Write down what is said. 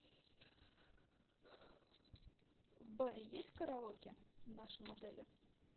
в баре есть караоке в нашем отеле